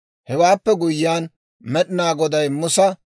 Hewaappe guyyiyaan Med'inaa Goday Musa,